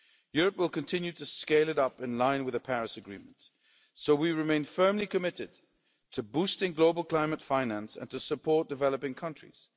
Europe will continue to scale it up in line with the Paris Agreement, so we remain firmly committed to boosting global climate finance and to supporting developing countries.